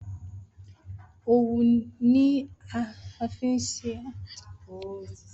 Owu ni a fi ṣe awọn aṣọ.